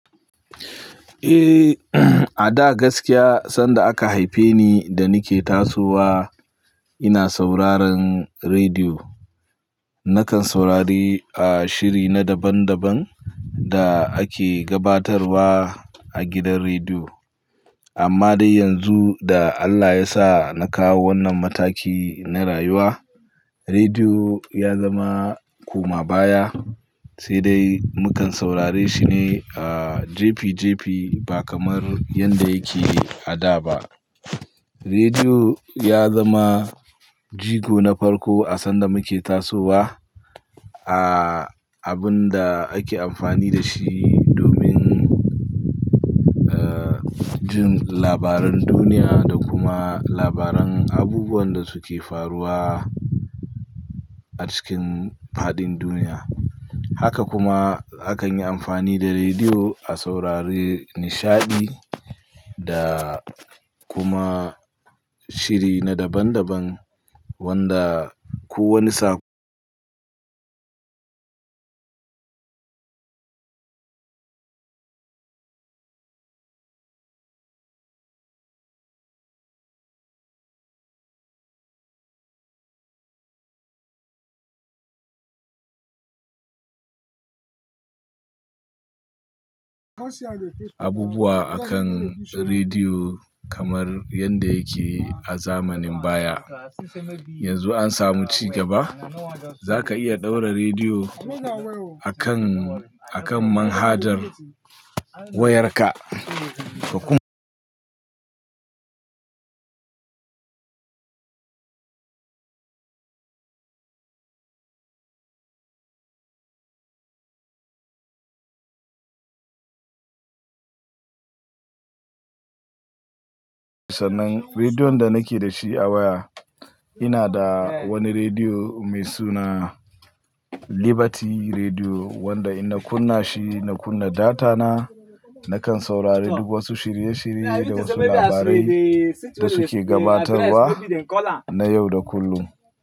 Eh, a da gaskiya sanda aka haife ni da ni ke tasowa ina sauraron rediyo. Nakan saurari, ah, shiri na daban daban da ake gabatarwa a gidan rediyo. Amma dai yanzu da Allah ya sa na kawo wannan mataki na rayuwa, rediyo ya zama koma baya, sai dai mu kan saurare shi ne, ah, jipi jipi ba kamar yadda yake a da ba. Rediyo ya zama jigo na farko a sanda muke tasowa, ah, abun da ake amfani da shi domin, ah, jin labaran duniya da kuma labaran abubuwan da suke faruwa a cikin fadin duniya. Haka kuma hakan yi amfani da rediyo a saurari nishaɗi da kuma shiri na daban daban wanda kowane sa- abubuwa akan rediyo kamar yadda yake a zamanin baya. Yanzu an samu ci gaba. Zaka iya ɗaura rediyo akan, akan manhajar wayarka, ka kuma-- sanan rediyon da nake da shi a waya. Ina da wani rediyo mai suna Liberty Rediyo wanda idan kuna shi na kunna data na, nakan saurari duk wasu shirye shirye da wasu labarai da suke gabatarwa na yau da kullum.